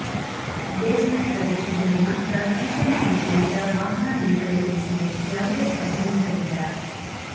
base made ಪ್ರದೇಶದಲ್ಲಿ ಮಾತ್ರ ಈಶಾನ್ಯ ದಿಕ್ಕಿನತ್ತ ವಾಹನ ನಿಲುಗಡೆಗೊಳಿಸಿದೆ ಯಾವುದೇ ಅಭ್ಯಂತರವಿಲ್ಲ